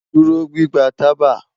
Duro gbigba taba